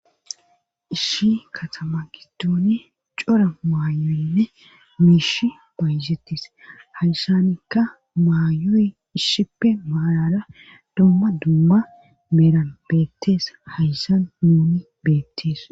Ishi katama giddooni cora maayoyinne miishi baayzetis hayssanikka maayoy ishshippe maalara domma dumma meeran beettees hayssan nuni beettees